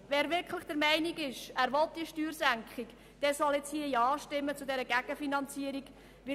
Wer wirklich der Meinung ist, dass er diese Steuersenkung will, der soll nun zu dieser Gegenfinanzierung Ja stimmen.